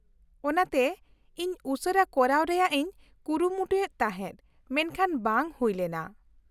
-ᱚᱱᱟᱛᱮ ᱤᱧ ᱩᱥᱟᱹᱨᱟ ᱠᱚᱨᱟᱣ ᱨᱮᱭᱟᱜ ᱤᱧ ᱠᱩᱨᱩᱢᱩᱴᱩᱭᱮᱫ ᱛᱟᱦᱮᱸᱫ, ᱢᱮᱱᱠᱷᱟᱱ ᱵᱟᱝ ᱦᱩᱭ ᱞᱮᱱᱟ ᱾